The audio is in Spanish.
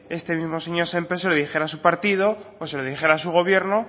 este mismo señor sémper se lo dijera a su partido o se lo dijera a su gobierno